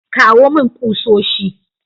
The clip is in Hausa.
Kawo mani kusoshi.